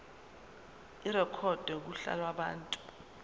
irekhodwe kuhla lwabantu